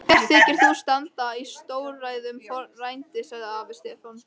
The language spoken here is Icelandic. Mér þykir þú standa í stórræðum frændi, sagði afi Stefán.